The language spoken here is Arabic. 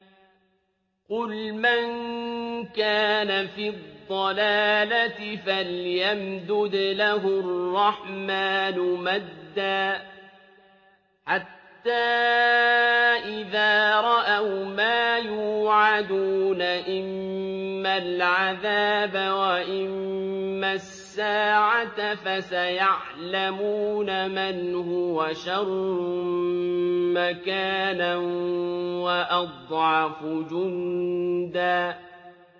قُلْ مَن كَانَ فِي الضَّلَالَةِ فَلْيَمْدُدْ لَهُ الرَّحْمَٰنُ مَدًّا ۚ حَتَّىٰ إِذَا رَأَوْا مَا يُوعَدُونَ إِمَّا الْعَذَابَ وَإِمَّا السَّاعَةَ فَسَيَعْلَمُونَ مَنْ هُوَ شَرٌّ مَّكَانًا وَأَضْعَفُ جُندًا